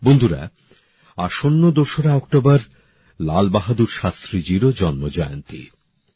বন্ধুরা আসন্ন দোসরা অক্টোবর লাল বাহাদুর শাস্ত্রীজিরও জন্মজয়ন্তী